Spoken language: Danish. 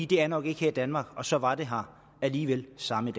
det er nok ikke her i danmark og så var det her alligevel samme